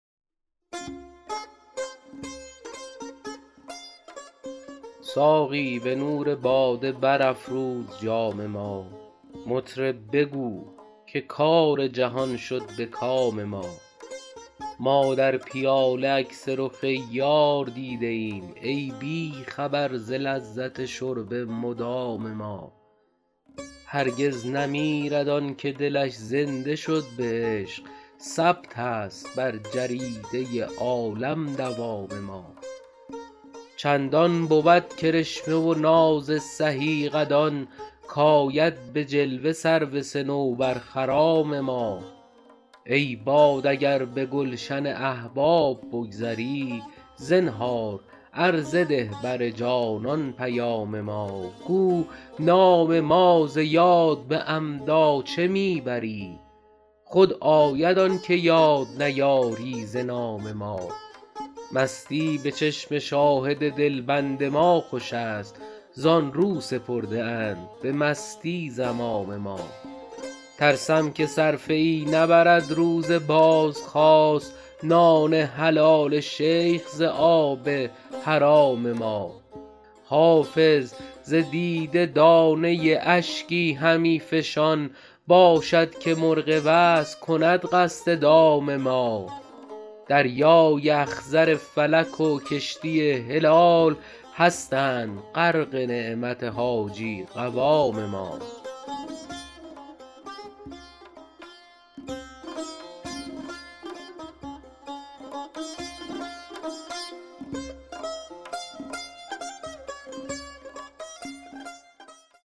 ساقی به نور باده برافروز جام ما مطرب بگو که کار جهان شد به کام ما ما در پیاله عکس رخ یار دیده ایم ای بی خبر ز لذت شرب مدام ما هرگز نمیرد آن که دلش زنده شد به عشق ثبت است بر جریده عالم دوام ما چندان بود کرشمه و ناز سهی قدان کآید به جلوه سرو صنوبرخرام ما ای باد اگر به گلشن احباب بگذری زنهار عرضه ده بر جانان پیام ما گو نام ما ز یاد به عمدا چه می بری خود آید آن که یاد نیاری ز نام ما مستی به چشم شاهد دلبند ما خوش است زآن رو سپرده اند به مستی زمام ما ترسم که صرفه ای نبرد روز بازخواست نان حلال شیخ ز آب حرام ما حافظ ز دیده دانه اشکی همی فشان باشد که مرغ وصل کند قصد دام ما دریای اخضر فلک و کشتی هلال هستند غرق نعمت حاجی قوام ما